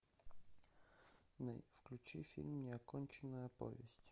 включи фильм неоконченная повесть